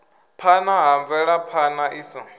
phana ha mvelaphana i sa